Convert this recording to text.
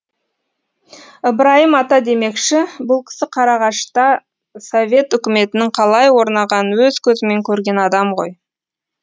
ыбырайым ата демекші бұл кісі қарағашта совет үкіметінің қалай орнағанын өз көзімен көрген адам ғой